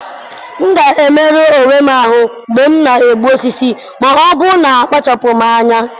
M gaara emerụ onwe m ahụ́ mgbe m na-egbu osisi, ma ọ́ bụghị na m na-akpachapụ anya